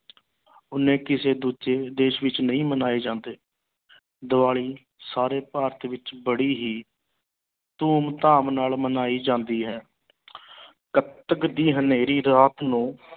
ਉਨੇ ਕਿਸੇ ਦੂਜੇ ਦੇਸ ਵਿੱਚ ਨਹੀਂ ਮਨਾਏ ਜਾਂਦੇ ਦੀਵਾਲੀ ਸਾਰੇ ਭਾਰਤ ਵਿੱਚ ਬੜੀ ਹੀ ਧੂਮ ਧਾਮ ਨਾਲ ਮਨਾਈ ਜਾਂਦੀ ਹੈ ਕੱਤਕ ਦੀ ਹਨੇਰੀ ਰਾਤ ਨੂੰ